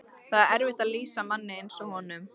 Það er erfitt að lýsa manni eins og honum.